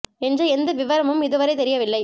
என்ற எந்த விவரமும் இதுவரை தெரியவில்லை